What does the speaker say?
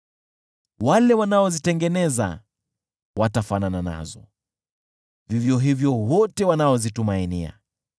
Wale wanaozitengeneza watafanana nazo, vivyo hivyo wale wote wanaozitumainia.